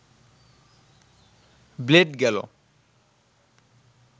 blade গেল